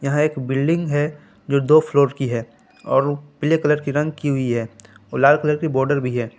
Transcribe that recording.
यह एक बिल्डिंग है जो दो फ्लोर की हैं और पीले कलर की रंग की हुई हैं और लाल कलर की बॉडर भी हैं।